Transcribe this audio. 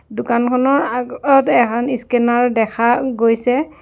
দোকানখনৰ আগ অত এখন স্কেনাৰ দেখা গৈছে।